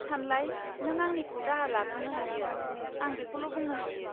सानलाय! नों आंनिखौ दाहार लाथ'नो हायो, आं बेखौल' बुंनो हायो।